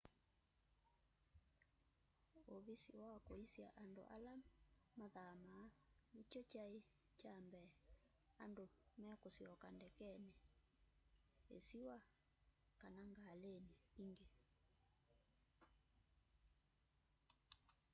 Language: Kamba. uvisi wa kũisya andũ ala mathamaa nĩkyo kyaĩ kya mbee andũ mekusyoka ndekenĩ isiwa kana ngalĩnĩ ingi